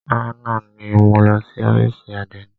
Àná ni mo lọ sí ófìsì àdénì.